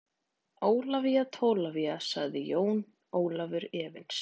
Ólafía Tólafía, sagði Jón Ólafur efins.